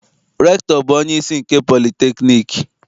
Rektọ bụ onyeisi nke politekniik.